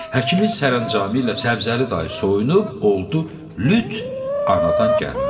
Həkimin sərəncamı ilə Səbzəli dayı soyunub, oldu lüt anadan gəlmə.